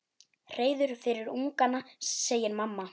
Hreiður fyrir ungana, segir mamma.